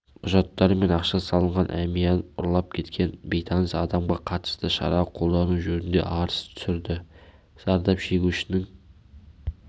құжаттары мен ақша салынған әмиянынұрлап кеткен бейтаныс адамға қатысты шарақолдану жөнінде арыз түсірді зардап шегушінің